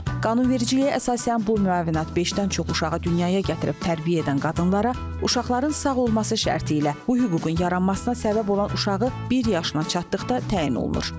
Qanunvericiliyə əsasən bu müavinət beşdən çox uşağı dünyaya gətirib tərbiyə edən qadınlara, uşaqların sağ olması şərti ilə bu hüququn yaranmasına səbəb olan uşağı bir yaşına çatdıqda təyin olunur.